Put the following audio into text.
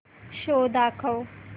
show दाखव